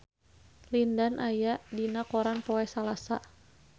Lin Dan aya dina koran poe Salasa